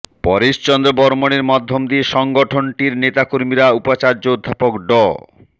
পরেশ চন্দ্র বর্ম্মণের মাধ্যম দিয়ে সংগঠনটির নেতাকর্মীরা উপাচার্য অধ্যাপক ড